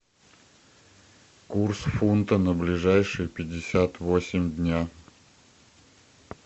курс фунта на ближайшие пятьдесят восемь дня